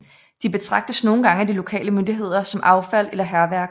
De betragtes nogle gange af de lokale myndigheder som affald eller hærværk